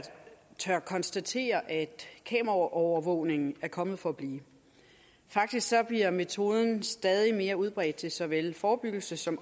tør konstatere at kameraovervågning er kommet for at blive faktisk bliver metoden stadig mere udbredt til såvel forebyggelse som